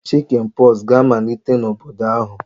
Oria Chicken pox ga-amalite n'obodo ahu